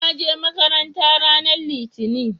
naje makaranta ranar litani